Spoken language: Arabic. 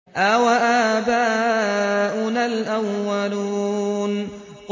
أَوَآبَاؤُنَا الْأَوَّلُونَ